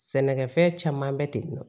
Sɛnɛkɛfɛn caman bɛ ten nɔ